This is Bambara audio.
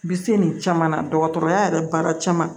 Bi se nin caman na dɔgɔtɔrɔya yɛrɛ baara caman